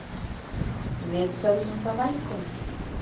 Við sögðum það velkomið.